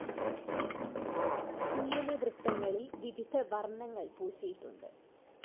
ഉള്ളിലെ വൃത്തങ്ങളിൽ വിവിധ വർണ്ണങ്ങൾ പൂശിയിട്ടുണ്ട്.